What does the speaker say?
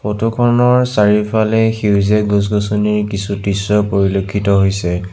Photo খনৰ চাৰিওফালে সেউজীয়া গছ-গছনিৰ কিছু দৃশ্য পৰিলক্ষিত হৈছে।